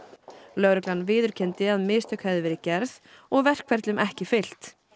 lögreglan viðurkenndi að mistök hefðu verið gerð og verkferlum ekki fylgt